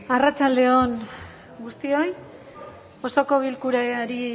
arratsalde on guztioi osoko bilkurari